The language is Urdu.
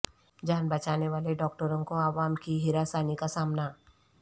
جان بچانے والے ڈاکٹروں کو عوام کی ہراسانی کا سامنا